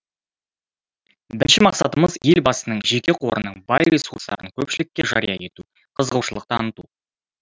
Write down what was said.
бірінші мақсатымыз елбасының жеке қорының бай ресурстарын көпшілікке жария ету қызығушылық таныту